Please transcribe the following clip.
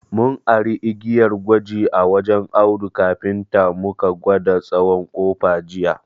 Mun ari igiyar gwaji a wajen Audu kafinta mu ka gwada tsawon ƙofa jiya.